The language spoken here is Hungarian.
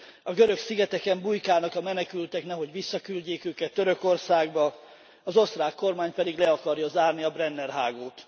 A görög szigeteken bujkálnak a menekültek, nehogy visszaküldjék őket Törökországba, az osztrák kormány pedig le akarja zárni a Brenner hágót.